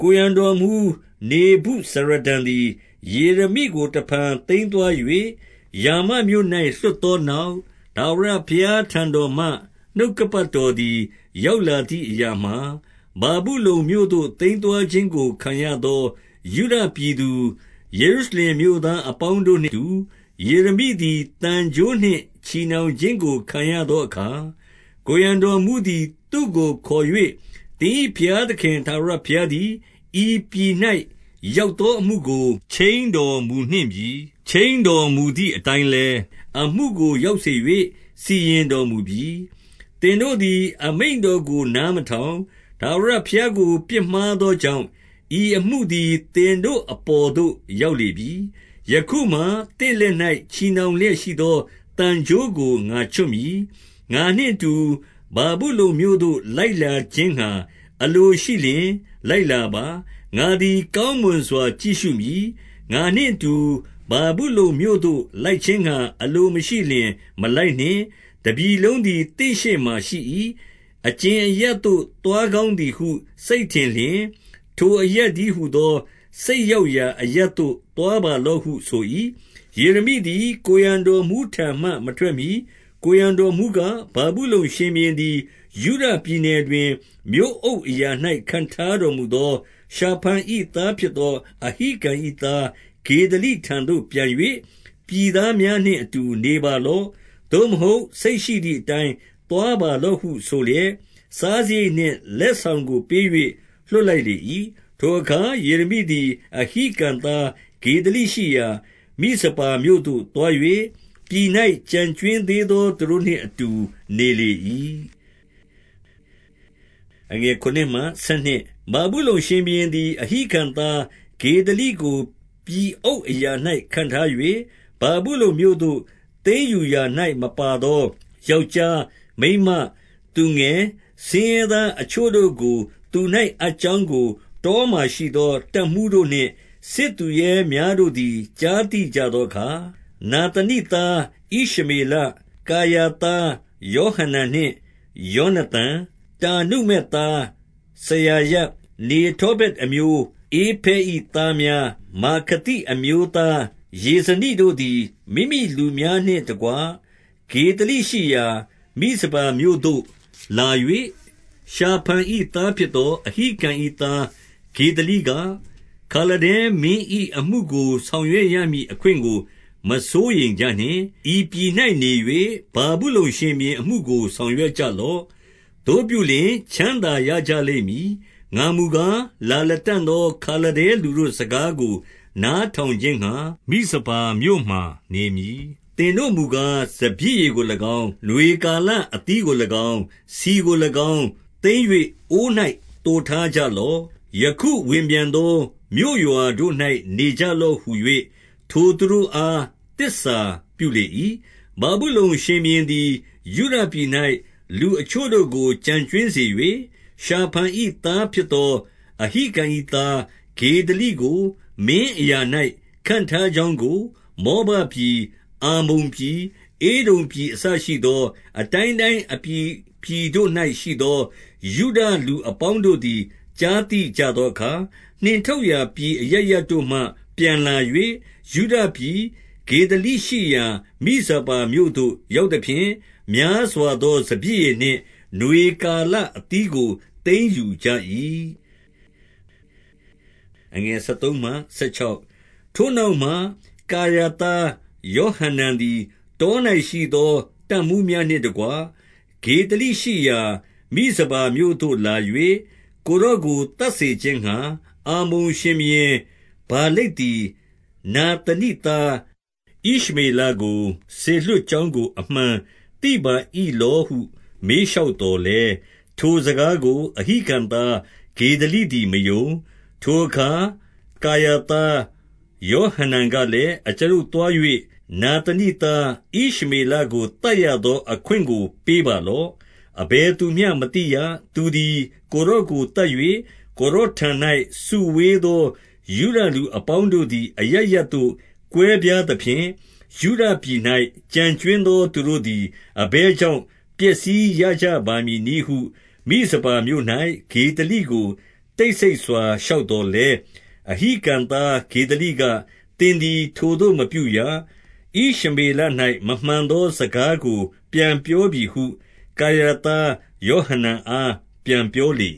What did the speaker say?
ကိုယ်ရံတော်မှူး နေဗုဇာရဒန်သည် ယေရမိကို တဖန် သိမ်းသွား၍ ရာမမြို့၌ လွှတ်သောနောက်၊ ထာဝရဘုရားထံတော်မှ နှုတ်ကပတ်တော်သည် ရောက် လာသည်အရာမှာ၊ ဗာဗုလုန်မြို့သို့ သိမ်းသွားခြင်းကို ခံရသော ယုဒပြည်သူ၊ ယေရုရှလင်မြို့သားအပေါင်း တို့နှင့်အတူ၊ ယေရမိသည်သံကြိုးနှင့် ချည်နှောင်ခြင်းကို ခံရသောအခါ၊ 2 ကိုယ်ရံတော်မှူးသည် သူ့ကိုခေါ်၍၊ သင်၏ ဘုရားသခင်ထာဝရ ဘုရားသည် ဤပြည်၌ ရောက်သော အမှုကို ခြိမ်းတော်မူနှင့်ပြီ။ 3 ခြိမ်းတော်မူသည်အတိုင်းလည်း၊ အမှုကို ရောက် စေ၍ စီရင်တော်မူပြီ။ သင်တို့သည် အမိန့်တော်ကို နားမထောင်၊ ထာဝရဘုရားကို ပြစ်မှားသောကြောင့်၊ ဤအမှုသည် သင်တို့အပေါ်သို့ ရောက်လေပြီ။ 4 ယခုမှာ သင့်လက်၌ ချည်နှောင်လျက်ရှိသော သံကြိုးကို ငါချွတ်မည်။ ငါနှင့်အတူ ဗာဗုလုန်မြို့သို့ လိုက်လာခြင်းငှါ အလိုရှိလျှင် လိုက်လာပါ။ ငါသည် ကောင်းမွန်စွာ ကြည့်ရှုမည်။ ငါနှင့်အတူ ဗာဗုလုန်မြို့သို့ လိုက်ခြင်းငှါ အလိုမရှိလျှင် မလိုက်နှင့်။ တပြည်လုံးသည် သင့်ရှေ့မှာရှိ၏။ အကြင်အရပ်သို့သွားကောင်းသည်ဟု စိတ်ထင်လျှင်၊ ထိုအရပ်တည်းဟူသော စိတ်ရောက်ရာ အရပ်သို့ သွားပါလော့ဟုဆို၏။ 5 ယေရမိသည်ကိုယ်ရံတော်မှူးထံမှ မထွက်မှီ၊ ကိုယ်ရံတော်မှူးက၊ ဗာဗုလုန်ရှင်ဘုရင်သည် ယုဒ ပြည်နယ်တွင်၊ မြို့အုပ်အရာ၌ခန့်ထားတော်မူသော ရှာဖန်၏သားဖြစ်သော အဟိကံ၏သားဂေဒလိထံ သို့ပြန်၍၊ ပြည်သားများနှင့်အတူနေပါလော့။ သို့မဟုတ်၊ စိတ်ရှိသည်အတိုင်း သွားပါလော့ဟုဆိုလျက်၊ စားစရိတ် နှင့်လက်ဆောင်ကို ပေး၍လွှတ်လိုက်လေ၏။ 6 ထိုအခါ ယေရမိသည် အဟိကံသားဂေဒလိရှိရာ မိဇပါမြို့သို့ သွား၍၊ ပြည်၌ကျန်ကြွင်းသေးသော သူတို့နှင့် အတူနေလေ၏။ 7 ဗာဗုလုန်ရှင်ဘုရင်သည် အဟိကံသား ဂေဒလိ ကိုပြည်အုပ်အရာ၌ ခန့်ထား၍၊ ဗာဗုလုန်မြို့သို့ သိမ်းယူ ရာ၌မပါသော ယောက်ျားမိန်းမသူငယ်ဆင်းရဲသားအချို့ တို့ကို သူ၌အပ်ကြောင်းကို၊ တောမှာရှိသော တပ်မှူးတို့ နှင့်စစ်သူရဲများတို့သည် ကြားသိကြသောအခါ၊ 8 နာသနိသားဣရှမေလ၊ ကာရာသားယောဟနန် နှင့်ယောနသန်၊ တာနုမက်သားစရာယ၊ နေတောဖတ် အမျိုး၊ ဧဖဲ၏သားများ၊ မာခသိအမျိုး သားယေဇနိတို့ သည် မိမိလူများနှင့်တကွ ဂေဒလိရှိရာမိဇပါမြို့သို့လာ၍၊ 9 ရှာဖန်၏သားဖြစ်သော အဟိကံ၏သား ဂေဒလိက၊ ခါလဒဲမင်း၏အမှုကို ဆောင်ရွက်ရမည် အခွင့်ကို မစိုးရိမ်ကြနှင့်။ ဤပြည်၌နေ၍ ဗာဗုလုန် ရှင်ဘုရင်အမှုကို ဆောင်ရွက်ကြလော့။ သို့ပြုလျှင်၊ ချမ်းသာရကြလိမ့်မည်။ 10 ငါမူကား၊ လာလတံ့သော ခါလဒဲလူတို့စကားကို နားထောင်ခြင်းငှါ မိဇပါမြို့မှာနေမည်။ သင်တို့မူကား၊ စပျစ်ရည်ကို၎င်း၊ နွေကာလအသီးကို၎င်း၊ ဆီကို၎င်း သိမ်း၍အိုး၌သိုထားကြလော့။ ယခု ဝင်ပြန်သောမြို့ရွာ တို့၌နေကြလော့ဟူ၍၊ ထိုသူတို့အား သစ္စာပြုလေ၏။ 11 ဗာဗုလုန်ရှင်ဘုရင်သည် ယုဒပြည်၌ လူအချို့တို့ ကို ကျန်ကြွင်းစေ၍၊ ရှာဖန်၏သားဖြစ်သော အဟိကံ၏ သား ဂေဒလိကိုမင်းအရာ၌ ခန့်ထားကြောင်းကို၊ မောဘ ပြည်၊ အမ္မုန်ပြည်၊ ဧဒုံပြည်အစရှိသော အတိုင်းတိုင်း အပြည်ပြည်တို့၌ရှိသော ယုဒလူအပေါင်းတို့သည် ကြားသိကြသောအခါ၊ 12 နှင်ထုတ်ရာပြည်အရပ်ရပ်တို့မှ ပြန်လာ၍၊ ယုဒပြည်။ ဂေဒလိရှိရာမိဇပါမြို့သို့ရောက်သဖြင့်၊ များစွာ သော စပျစ်ရည်နှင့် နွေကာလအသီးကို သိမ်းယူကြ၏။ 13 ထိုနောက်မှ၊ ကာရာသားယောဟနန်သည် တော၌ရှိသောတပ်မှူးများနှင့်တကွ၊ ဂေဒလိရှိရာမိဇပါမြို့ သို့လာ၍၊ 14 ကိုယ်တော်ကိုသတ်စေခြင်းငှါ၊ အမ္မုန်ရှင်ဘုရင် ဗာလိတ်သည် နာသနိသားဣရှမေလကို စေလွှတ် ကြောင်းကို အမှန်သိပါ၏လောဟု မေးလျှောက်သော် လည်း၊ ထိုစကားကို အဟိကံသားဂေဒလိသည်မယုံ။ 15 ထိုအခါ ကာရာသားယောဟနန်ကလည်း၊ အကျွန်ုပ်သွား၍နာသနိသား ဣရှမေလကိုသတ်ရသော အခွင့်ကို ပေးပါလော့။ အဘယ်သူမျှမသိရ။ သူသည် ကိုယ်တော်ကိုသတ်၍၊ ကိုယ်တော်ထံ၌ စုဝေးသောယုဒလူ အပေါင်းတို့သည် အရပ်ရပ်သို့ကွဲပြားသဖြင့်၊ ယုဒပြည်၌ ကျန်ကြွင်းသော သူတို့သည် အဘယ်ကြောင့်ပျက်စီးရ ကြပါမည်နည်းဟု၊ မိဇပါမြို့၌ ဂေဒလိကို တိတ်ဆိတ်စွာ လျှောက်သော်လည်း၊ 16 အဟိကံသားဂေဒလိက၊ သင်သည်ထိုသို့မပြုရ။ ဣရှမေလ၌ မမှန်သောစကားကိုပြန်ပြောပြီဟု၊ ကာရာ သားယောဟနန်အား ပြန်ပြောလေ